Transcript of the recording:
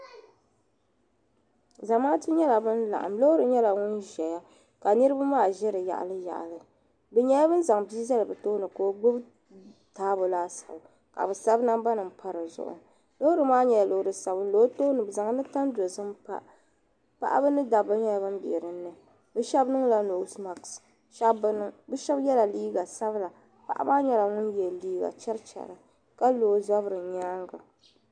Zamaatu nyela ban laɣim loori nyela ban zaya ka niribi maa ʒi di yaɣali yaɣali bɛ nyela ban zaŋ bii zali bɛ tooni ka o gbubi taabo laasabu ka bi sabi namba m pa di zuɣu loori maa nyela loori sabinli o tooni bɛ zaŋla tan dozim pa paɣa ni dabba nyela ban be din ni bɛ shɛbi niŋla noose maks shɛb bi niŋ bɛ shɛbi yela liiga sabila paɣa maa nyela ŋun ye liiga cherichera ka lo o zabiri nyaaŋa.